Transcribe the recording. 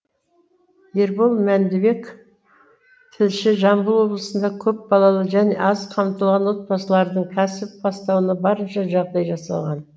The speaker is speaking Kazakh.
ербол мәндібек тілші жамбыл облысында көпбалалы және аз қамтылған отбасылардың кәсіп бастауына барынша жағдай жасалған